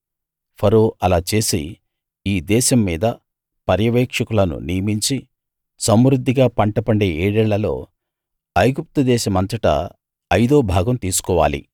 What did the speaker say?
ఫరో అలా చేసి ఈ దేశం మీద పర్యవేక్షకులను నియమించి సమృద్ధిగా పంట పండే ఏడేళ్ళలో ఐగుప్తు దేశమంతటా అయిదో భాగం తీసుకోవాలి